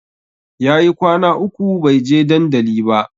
Yayi kwana uku bai je dandali ba